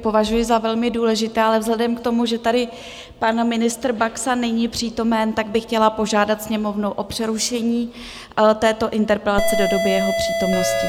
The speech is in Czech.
považuji za velmi důležité, ale vzhledem k tomu, že tady pan ministr Baxa není přítomen, tak bych chtěla požádat Sněmovnu o přerušení této interpelace do doby jeho přítomnosti.